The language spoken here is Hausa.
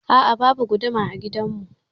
A'a, babu guduma a gidan mu.